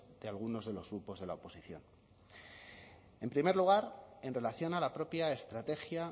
de algunos de los grupos de la oposición en primer lugar en relación a la propia estrategia